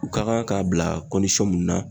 U ka kan k'a bila mun na